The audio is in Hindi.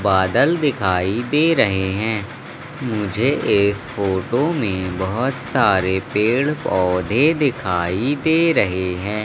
बादल दिखाई दे रहे है मुझे इस फोटो में बहोत सारे पेड़-पौधे दिखाई दे रहे हैं।